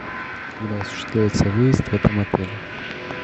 когда осуществляется выезд в этом отеле